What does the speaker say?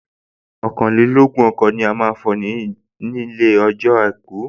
Ọ̀kànlélógún ọkọ̀ ni a fọ̀ nie ọjọ́ àìkú